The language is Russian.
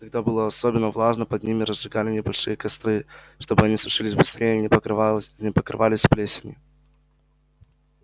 когда было особенно влажно под ними разжигали небольшие костры чтобы они сушились быстрее и не покрывались плесенью